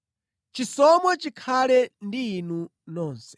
Chisomo chikhale ndi inu nonse.